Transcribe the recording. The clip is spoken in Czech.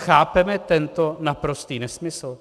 Chápeme tento naprostý nesmysl?